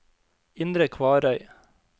Indre Kvarøy